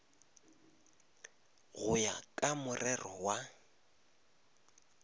go ya ka morero wa